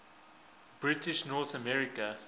british north america